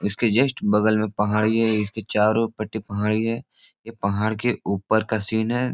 इसके जस्ट बगल में पहाडी है। इसके चारो पट्टी पहाड़ी है ये पहाड़ के ऊपर का सीन है।